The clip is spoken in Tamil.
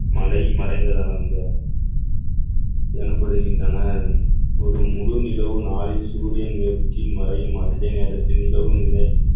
மழை மறைந்ததாக எனப்படுகின்றனர் ஒரு முழு நிலவு நாளை சூரியன் மேற்கில் மறையும் அதே நேரத்தில் நிலவும் நிலை